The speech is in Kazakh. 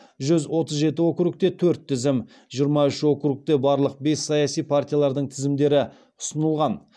жүз отыз жеті округте төрт тізім жиырма үш округте барлық бес саяси партиялардың тізімдері ұсынылған